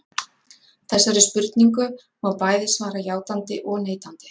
Þessari spurningu má bæði svara játandi og neitandi.